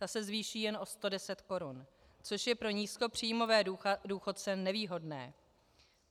Ta se zvýší jen o 110 korun, což je pro nízkopříjmové důchodce nevýhodné.